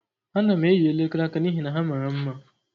Ana m eyi elekere aka n'ihi na ha mara mma.